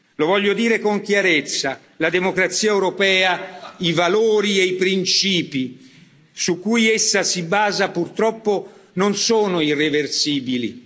Lo voglio dire con chiarezza la democrazia europea, i valori e i principi su cui essa si basa purtroppo non sono irreversibili.